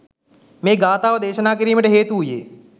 මේ ගාථාව දේශනා කිරීමට හේතු වූයේ